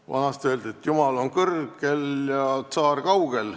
Vanasti öeldi, et jumal on kõrgel ja tsaar kaugel.